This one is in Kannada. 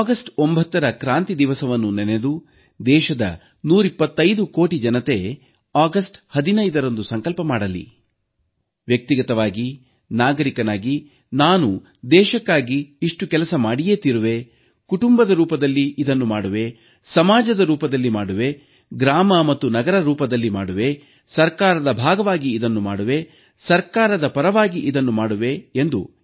ಆಗಸ್ಟ್ 9ರ ಕ್ರಾಂತಿ ದಿವಸವನ್ನು ನೆನೆದು ದೇಶದ 125 ಕೋಟಿ ಜನತೆ ಆಗಸ್ಟ್ 15ರಂದು ಸಂಕಲ್ಪ ಮಾಡಲಿ ವ್ಯಕ್ತಿಗತವಾಗಿ ನಾಗರಿಕನಾಗಿ ನಾನು ದೇಶಕ್ಕಾಗಿ ಇಷ್ಟು ಕೆಲಸ ಮಾಡಿಯೇ ತೀರುವೆ ಕುಟುಂಬದ ರೂಪದಲ್ಲಿ ಇದನ್ನು ಮಾಡುವೆ ಸಮಾಜದ ರೂಪದಲ್ಲಿ ಮಾಡುವೆ ಗ್ರಾಮ ಮತ್ತು ನಗರದ ರೂಪದಲ್ಲಿ ಮಾಡುವೆ ಸರ್ಕಾರದ ಭಾಗವಾಗಿ ಇದನ್ನು ಮಾಡುವೆ ಸರ್ಕಾರದ ಪರವಾಗಿ ಇದನ್ನು ಮಾಡುವೆ ಎಂದು